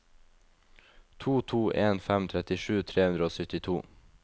to to en fem trettisju tre hundre og syttito